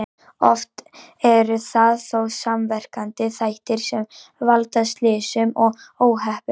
Oft eru það þó samverkandi þættir sem valda slysum og óhöppum.